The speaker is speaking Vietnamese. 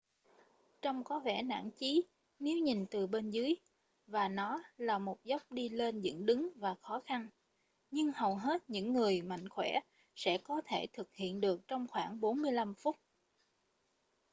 trông có vẻ nản chí nếu nhìn từ bên dưới và nó là một dốc đi lên dựng đứng và khó khăn nhưng hầu hết những người mạnh khoẻ sẽ có thể thực hiện được trong khoảng 45 phút